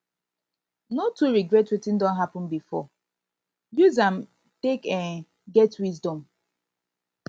no too regret wetin don hapun bifor use um am take um get wisdom